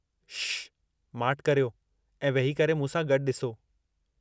श्श्श! माठि करियो ऐं वेही करे मूं सां गॾु ॾिसो।